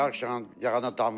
Yağış yağanda damır.